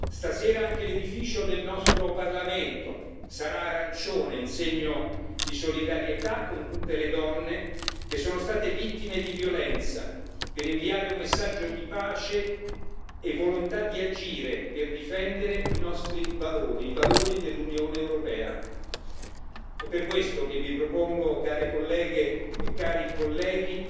Stasera anche l'edificio del nostro Parlamento sarà arancione in segno di solidarietà con tutte le donne che sono state vittime di violenza, per inviare un messaggio di pace e volontà di agire, per difendere i nostri valori, i valori dell'Unione europea È per questo che vi propongo, care colleghe e cari colleghi,